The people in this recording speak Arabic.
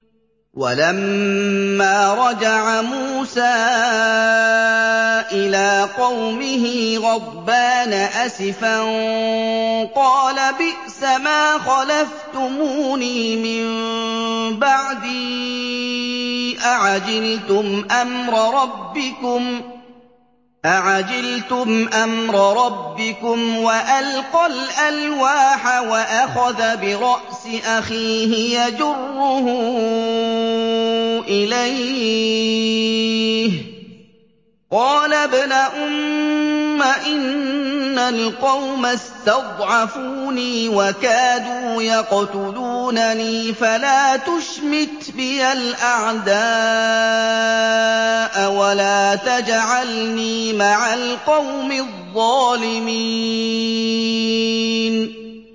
وَلَمَّا رَجَعَ مُوسَىٰ إِلَىٰ قَوْمِهِ غَضْبَانَ أَسِفًا قَالَ بِئْسَمَا خَلَفْتُمُونِي مِن بَعْدِي ۖ أَعَجِلْتُمْ أَمْرَ رَبِّكُمْ ۖ وَأَلْقَى الْأَلْوَاحَ وَأَخَذَ بِرَأْسِ أَخِيهِ يَجُرُّهُ إِلَيْهِ ۚ قَالَ ابْنَ أُمَّ إِنَّ الْقَوْمَ اسْتَضْعَفُونِي وَكَادُوا يَقْتُلُونَنِي فَلَا تُشْمِتْ بِيَ الْأَعْدَاءَ وَلَا تَجْعَلْنِي مَعَ الْقَوْمِ الظَّالِمِينَ